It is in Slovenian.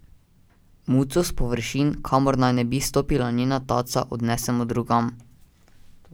Muco s površin, kamor naj ne bi stopila njena taca, odnesemo drugam.